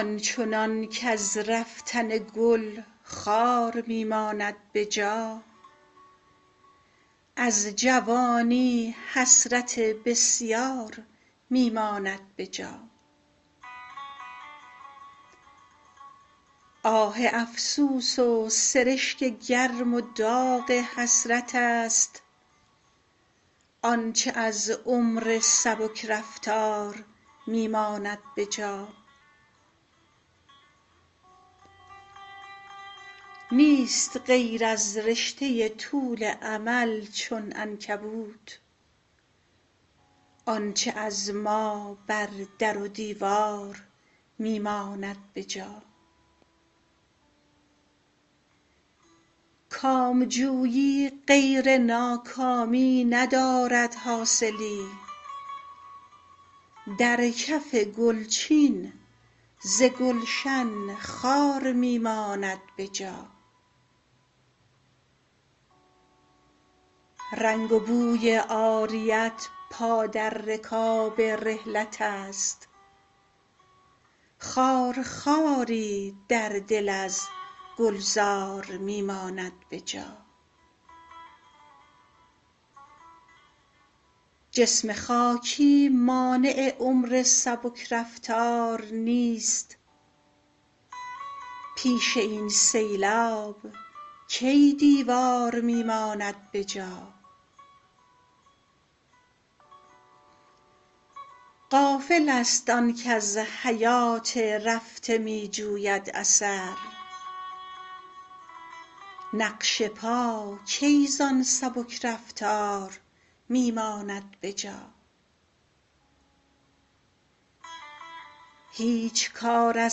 آنچنان کز رفتن گل خار می ماند به جا از جوانی حسرت بسیار می ماند به جا آه افسوس و سرشک گرم و داغ حسرت است آنچه از عمر سبک رفتار می ماند به جا نیست غیر از رشته طول امل چون عنکبوت آنچه از ما بر در و دیوار می ماند به جا کامجویی غیر ناکامی ندارد حاصلی در کف گل چین ز گلشن خار می ماند به جا رنگ و بوی عاریت پا در رکاب رحلت است خار خواری در دل از گلزار می ماند به جا جسم خاکی مانع عمر سبک رفتار نیست پیش این سیلاب کی دیوار می ماند به جا غافل است آن کز حیات رفته می جوید اثر نقش پا کی زان سبک رفتار می ماند به جا هیچ کار از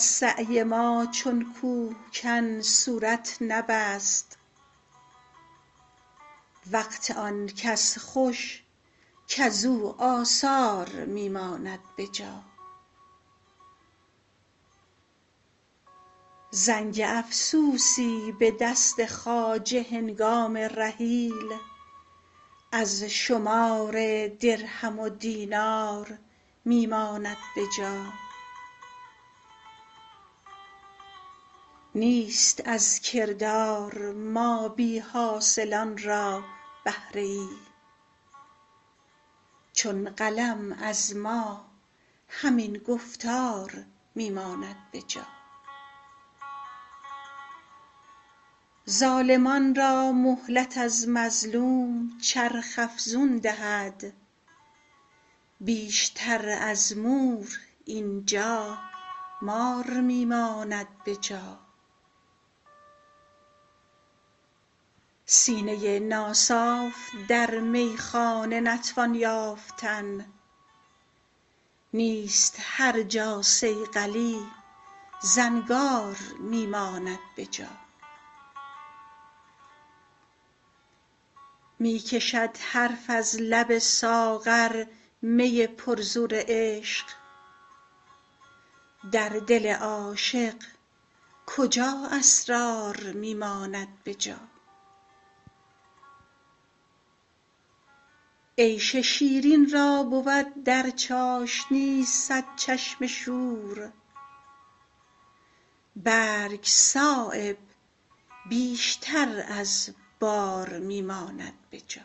سعی ما چون کوهکن صورت نبست وقت آن کس خوش کز او آثار می ماند به جا زنگ افسوسی به دست خواجه هنگام رحیل از شمار درهم و دینار می ماند به جا نیست از کردار ما بی حاصلان را بهره ای چون قلم از ما همین گفتار می ماند به جا ظالمان را مهلت از مظلوم چرخ افزون دهد بیشتر از مور اینجا مار می ماند به جا سینه ناصاف در میخانه نتوان یافتن نیست هر جا صیقلی زنگار می ماند به جا می کشد حرف از لب ساغر می پر زور عشق در دل عاشق کجا اسرار می ماند به جا عیش شیرین را بود در چاشنی صد چشم شور برگ صایب بیشتر از بار می ماند به جا